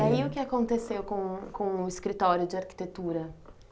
Eh e aí o que aconteceu com o com o escritório de arquitetura?